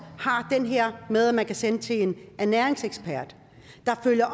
har det her med at man kan sendes til en ernæringsekspert der følger